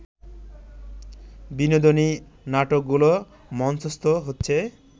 বিনোদিনী নাটকগুলো মঞ্চস্থ হচ্ছে